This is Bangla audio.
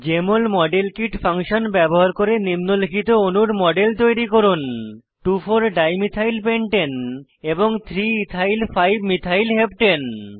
জেএমএল মডেল কিট ফাংশন ব্যবহার করে নিম্নলিখিত অণুর মডেল তৈরী করুন 24 ডাইমিথাইল পেন্টানে এবং 3 ethyl 5 মিথাইল হেপ্টানে